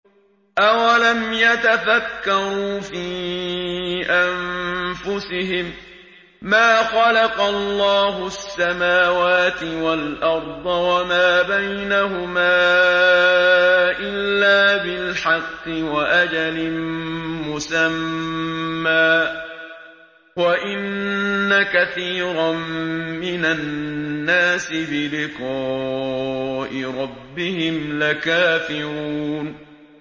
أَوَلَمْ يَتَفَكَّرُوا فِي أَنفُسِهِم ۗ مَّا خَلَقَ اللَّهُ السَّمَاوَاتِ وَالْأَرْضَ وَمَا بَيْنَهُمَا إِلَّا بِالْحَقِّ وَأَجَلٍ مُّسَمًّى ۗ وَإِنَّ كَثِيرًا مِّنَ النَّاسِ بِلِقَاءِ رَبِّهِمْ لَكَافِرُونَ